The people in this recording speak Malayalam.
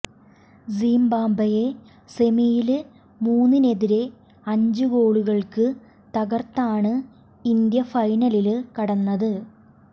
സിംബാബ്വേയെ സെമിയില് മൂന്നിനെതിരെ അഞ്ച് ഗോളുകള്ക്ക് തകര്ത്താണ് ഇന്ത്യ ഫൈനലില് കടന്നത്